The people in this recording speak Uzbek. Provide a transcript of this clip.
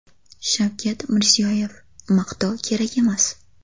Shavkat Mirziyoyev: Maqtov kerak emas.